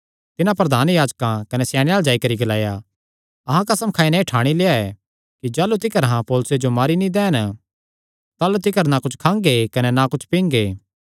तिन्हां प्रधान याजकां कने स्याणेयां अल्ल जाई करी ग्लाया अहां कसम खाई नैं एह़ ठाणी लेआ ऐ कि जाह़लू तिकर अहां पौलुसे जो मारी नीं दैन ताह़लू तिकर ना कुच्छ खांगे कने ना कुच्छ पींगे